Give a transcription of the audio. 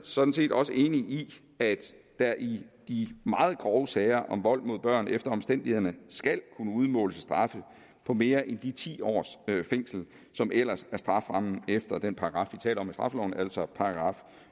sådan set også enig i at der i de meget grove sager om vold mod børn efter omstændighederne skal kunne udmåles straffe på mere end de ti års fængsel som ellers er strafferammen efter den paragraf vi taler om i straffeloven altså